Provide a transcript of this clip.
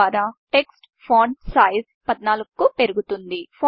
తద్వారా ఫాంట్ sizeటెక్ట్స్ font size 14కు పెరుగుతుంది